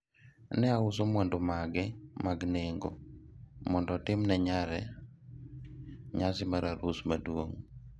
ne ouso mwandu mage mag nengo mondo otim ne nyare nyasi mar arus maduong'